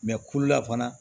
kulu la fana